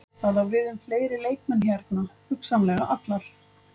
Það á við um fleiri leikmenn hérna, hugsanlega allar.